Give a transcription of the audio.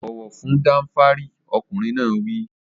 Bọ̀wọ̀ fún Danfari! Ọkùnrin náà wí.